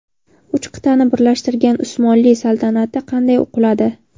Uch qit’ani birlashtirgan Usmonli saltanati qanday quladi?.